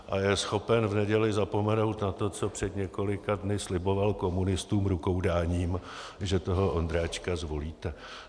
A je schopen v neděli zapomenout na to, co před několika dny sliboval komunistům rukoudáním, že toho Ondráčka zvolíte.